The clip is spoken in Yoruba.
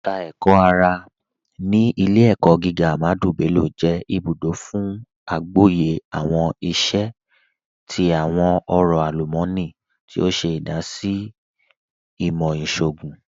Ẹka Ẹkọ-ara ni Ilẹ̀-ẹ̀kọ̀ gígà Ahmadu Bello jẹ ibùdó fún àgbọ̀yẹ̀ awọn iṣẹ̀ ti awọn ọ̀rọ̀ alumọ̀nì, tí o ṣe idasí sí ìmọ̀ iṣọọ̀gùn.